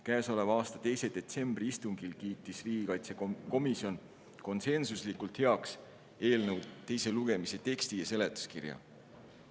Käesoleva aasta 2. detsembri istungil kiitis riigikaitsekomisjon konsensuslikult heaks eelnõu teise lugemise teksti ja seletuskirja.